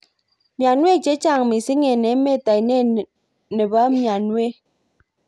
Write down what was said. Maiwek chechang mising ik emet ainet nenbo maiwek.